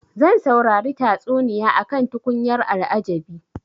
Zan saurari tatsuniya akan tukunyar al'ajabi.